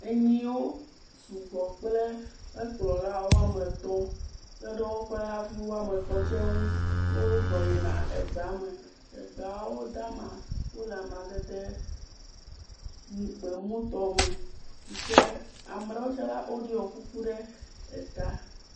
Enyiwo sugbɔ kple ekplɔla woame atɔ̃ kpe ɖe woƒe avu woame etɔ̃ tsɛ ŋu. wozɔ yina egbea me. egbeawo dama. Wole amadede mu gbemutɔ me si kea me ɖewo tsɛ la woɖɔ kuku ɖe eta.